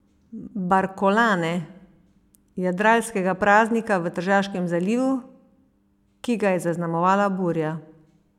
Barkolane, jadralskega praznika v Tržaškem zalivu, ki ga je zaznamovala burja.